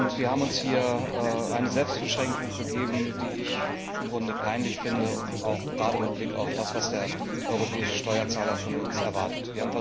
Wir haben uns hier eine Selbstbeschränkung gegeben, die ich im Grunde peinlich finde, gerade mit Blick darauf, was der europäische Steuerzahler von uns erwartet.